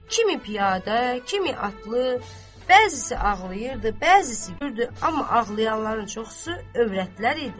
kimi piyada, kimi atlı, bəzisi ağlayırdı, bəzisi gülürdü, amma ağlayanların çoxusu övrətlər idi.